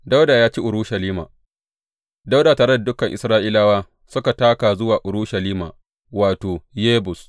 Dawuda ya ci Urushalima Dawuda tare da dukan Isra’ilawa suka taka zuwa Urushalima wato, Yebus.